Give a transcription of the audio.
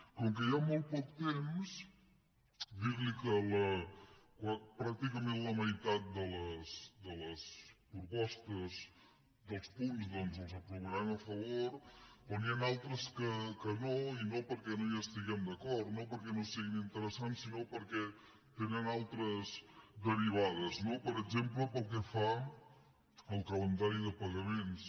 com que hi ha molt poc temps dir li que pràcticament la meitat de les propostes dels punts doncs els aprovarem a favor però n’hi han altres que no i no perquè no hi estiguem d’acord no perquè no siguin interessants sinó perquè tenen altres derivades no per exemple pel que fa al calendari de pagaments